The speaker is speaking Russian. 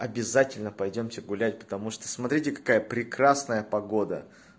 обязательно пойдёмте гулять потому что смотрите какая прекрасная погода